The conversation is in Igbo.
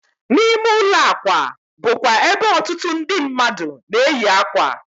N'ime ụlọ akwa bụ kwa ebe otutu ndị mmadu na-eyi ákwà